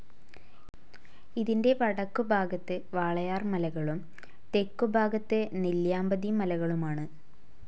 ഇതിൻ്റെ വടക്കുഭാഗത്ത് വാളയാർ മലകളും തെക്കുഭാഗത്ത് നെല്ലിയാമ്പതി മലകളുമാണ്.